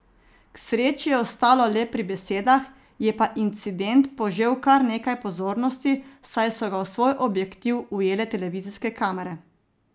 K sreči je ostalo le pri besedah, je pa incident požel kar nekaj pozornosti, saj so ga v svoj objektiv ujele televizijske kamere.